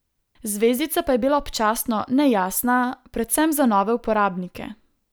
Zvezdica pa je bila občasno nejasna, predvsem za nove uporabnike.